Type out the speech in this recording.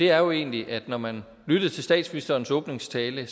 er jo egentlig at når man lyttede til statsministerens åbningstale